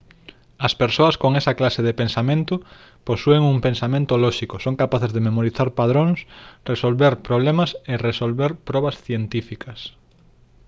as persoas con esa clase de pensamento posúen un pensamento lóxico son capaces de memorizar padróns resolver problemas e resolver probas científicas